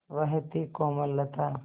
वह थी कोमलता